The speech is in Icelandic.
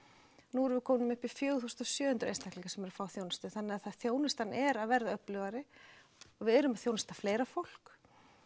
nú erum við komin upp í fjögur þúsund sjö hundruð einstaklinga sem eru að fá þjónustu þannig að þjónustan er að verða öflugri og við erum að þjónusta fleira fólk